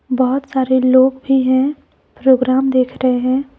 बहुत सारे लोग भी हैं प्रोग्राम देख रहे हैं।